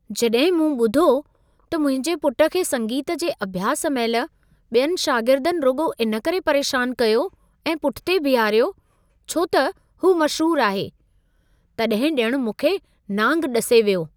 जॾहिं मूं ॿुधो त मुंहिंजे पुट खे संगीत जे अभ्यास महिल ॿियनि शागिर्दनि रुॻो इन करे परेशान कयो ऐं पुठिते बीहारियो, छो त हू मशहूर आहे, तॾहिं ॼणु मूंखे नांग ॾसे वियो।